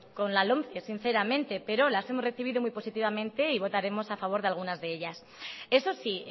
con la lomce sinceramente pero las hemos recibido muy positivamente y votaremos a favor de algunas de ellas eso sí